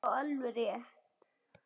Já, alveg rétt.